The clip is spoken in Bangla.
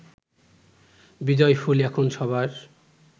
বিজয়ফুল এখন সবার